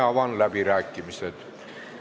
Avan läbirääkimised.